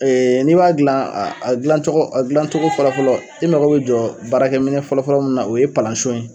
n'i b'a gilan a gilan cogo a gilan cogo fɔlɔ fɔlɔ e mago bɛ jɔ baarakɛ minɛn fɔlɔ fɔlɔ min na o ye palan son ye.